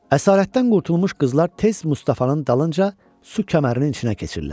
Əsarətdən qurtulmuş qızlar tez Mustafanın dalınca su kəmərinin içinə keçirlər.